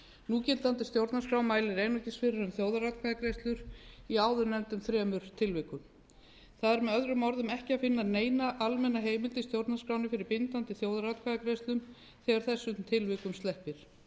núgildandi stjórnarskrá mælir einungis fyrir um þjóðaratkvæðagreiðslur í áðurnefndum þremur tilvikum það er með öðrum orðum ekki að finna neina almenna heimild í stjórnarskránni fyrir bindandi þjóðaratkvæðagreiðslum þegar þessum tilvikum sleppir